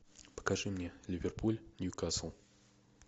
покажи мне ливерпуль ньюкасл